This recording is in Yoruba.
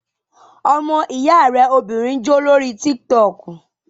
Ọmọ ìyá rẹ obìnrin ń jó lórí tík-tọkù